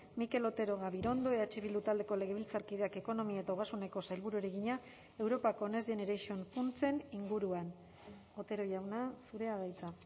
mikel otero gabirondo eh bildu taldeko legebiltzarkideak ekonomia eta ogasuneko sailburuari egina europako next generation funtsen inguruan otero jauna zurea da hitza